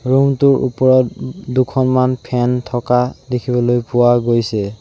Room টোৰ ওপৰত দুখনমান ফেন থকা দেখিবলৈ পোৱা গৈছে।